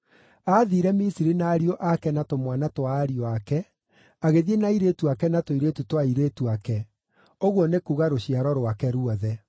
Aathiire Misiri na ariũ ake na tũmwana twa ariũ ake, agĩthiĩ na airĩtu ake na tũirĩtu twa airĩtu ake, ũguo nĩ kuuga rũciaro rwake ruothe.